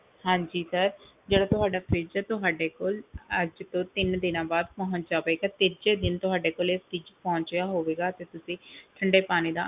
ਹਾਂਜੀ sir ਜਿਹੜਾ ਤੁਹਾਡਾ fridge ਹੈ ਤੁਹਾਡੇ ਕੋਲ ਅੱਜ ਤੋਂ ਤਿੰਨ ਦਿਨਾਂ ਬਾਅਦ ਪਹੁੰਚ ਜਾਵੇਗਾ ਤੀਜੇ ਦਿਨ ਤੁਹਾਡੇ ਕੋਲੇ fridge ਪਹੁੰਚਿਆ ਹੋਵੇਗਾ ਤੇ ਤੁਸੀਂ ਠੰਢੇ ਪਾਣੀ ਦਾ,